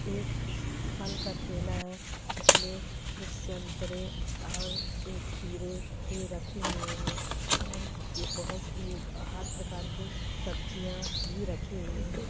एक फल का ठेला है जिसमे कुछ संतरे और ये खीरे ये रखे हुए है और भी ये बहुत से ए हर प्रकार के सब्जियां भी रखी हुईं है।